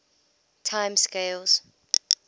time scales